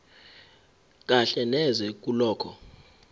kahle neze kulokho